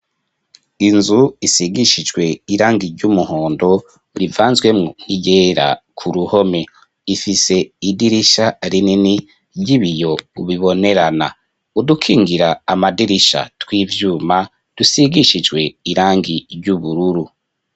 Inzu, isigishijwe irangi ry'umuhondo, rivanzwemwo n'iryera, ku ruhome; ifise idirisha rinini, ry'ibiyo, bibonerana; udukingira amadirisha, tw'ivyuma, dusigishijwe irangi, ry'ubururu.